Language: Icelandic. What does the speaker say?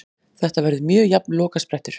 Þetta verður mjög jafn lokasprettur.